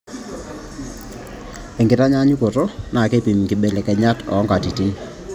enkitanyaanyukoto naa keipim inkibelekenyat oo nkatitin.